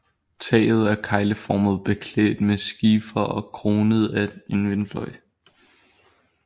Taget er kegleformet beklædt med skifer og kronet af en vindfløj